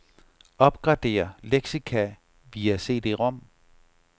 Opgradér leksika via cd-rom.